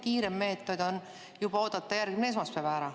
Kiirem meetod on juba oodata järgmine esmaspäev ära.